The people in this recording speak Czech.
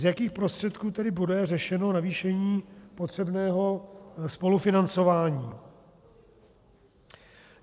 Z jakých prostředků tedy bude řešeno zvýšení potřebného spolufinancování?